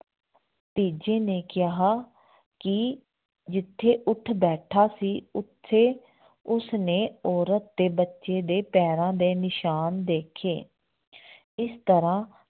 ਤੀਜੇ ਨੇ ਕਿਹਾ ਕਿ ਜਿੱਥੇ ਊਠ ਬੈਠਾ ਸੀ ਉੱਥੇ ਉਸਨੇ ਔਰਤ ਤੇ ਬੱਚੇ ਦੇ ਪੈਰਾਂ ਦੇ ਨਿਸ਼ਾਨ ਦੇਖੇ ਇਸ ਤਰ੍ਹਾਂ